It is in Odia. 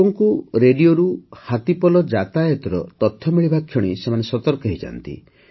ଲୋକଙ୍କୁ ରେଡିଓରୁ ହାତୀପଲ ଯାତାୟାତର ତଥ୍ୟ ମିଳିବା କ୍ଷଣି ସେମାନେ ସତର୍କ ହୋଇଯାଆନ୍ତି